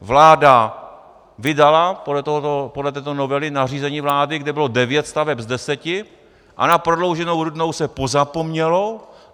Vláda vydala podle této novely nařízení vlády, kde bylo devět staveb z deseti a na Prodlouženou Rudnou se pozapomnělo.